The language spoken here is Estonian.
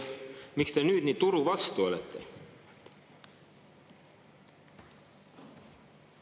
Miks te nüüd nii turu vastu olete?